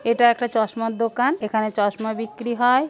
এটা একটা চশমার দোকান। এখানে চশমা বিক্রি হয়--